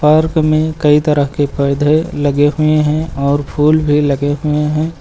Park में कई तरह के परधे लगे हुए हैं और फूल भी लगे हुए हैं।